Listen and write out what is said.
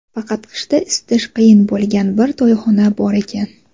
faqat qishda isitish qiyin bo‘lgan bir to‘yxona bor ekan.